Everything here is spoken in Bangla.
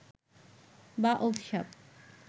বা অভিশাপ